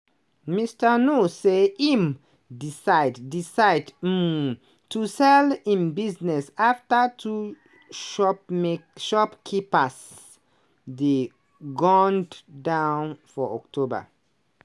mr nuur say im decide decide um to sell im business afta two shopma shopkeepers dey gunned down for october.